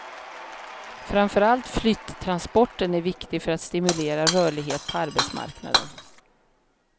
Framför allt flyttransporten är viktig för att stimulera rörlighet på arbetsmarknaden.